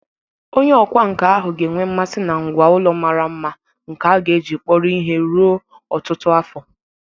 Onye ọkwá nkà ahụ ga enwe mmasị na ngwá ụlọ mara mma nke a ga-eji kpọrọ ihe ruo ọtụtụ afọ.